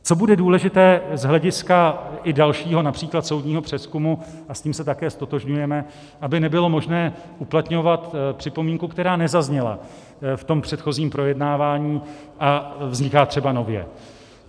Co bude důležité z hlediska i dalšího například soudního přezkumu, a s tím se také ztotožňujeme, aby nebylo možné uplatňovat připomínku, která nezazněla v tom předchozím projednávání a vzniká třeba nově.